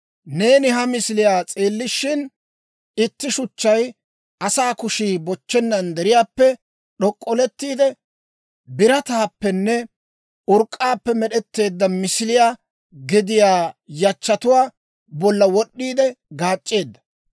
Neeni ha misiliyaa s'eellishin, itti shuchchay asaa kushii bochchennan deriyaappe d'ok'olettiide, birataappenne urk'k'aappe med'etteedda misiliyaa gediyaa yachchatuwaa bolla wod'd'iide gaac'c'eedda.